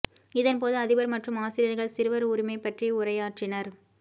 இதன் போது அதிபர் மற்றும் ஆசிரியர்கள் சிறுவர் உரிமை பற்றி உரையாற்றினர்